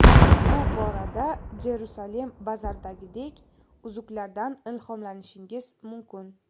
Bu borada JerusalemBazar’dagidek uzuklardan ilhomlanishingiz mumkin.